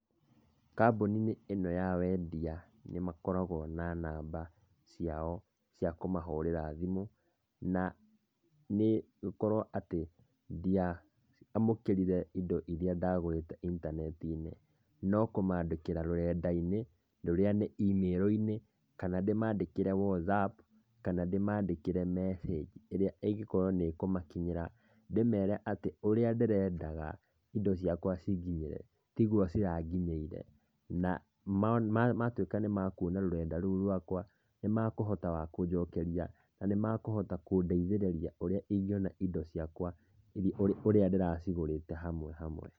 Kambuni-inĩ ĩno ya wendia, nĩmakoragwo na namba ciao cia kũmahũrĩra thimũ, na ingĩkorwo atĩ ndiamũkĩrire indo iria ndagũrĩte intaneti-inĩ, no kũmandĩkĩra rũrenda-inĩ, rũrĩa nĩ email -inĩ, kana ndĩmandĩkĩre WhatsApp, kana ndĩmandĩkĩre message ĩrĩa ĩgũkorwo nĩ ĩkũmakinyĩra, ndĩmere atĩ ũrĩa ndĩrendaga indo ciakwa cinginyĩre, tiguo ciranginyĩire, na matuĩka nĩmekuona rũrenda rũu rwakwa, nĩmekũhota kũnjokeri, na nĩmekũhota kũndeithĩrĩria ũria ingiona indo ciakwa ũrĩa ndĩracigũrĩte hamwe hamwe.